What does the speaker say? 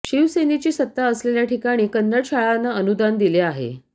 शिवसेनेची सत्ता असलेल्या ठिकाणी कन्नड शाळांना अनुदान दिले आहे